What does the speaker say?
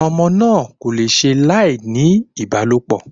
Ọmọ náà kò le ṣe láì ní ìbálòpọ̀